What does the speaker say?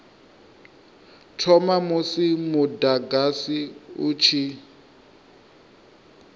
thoma musi mudagasi u tshi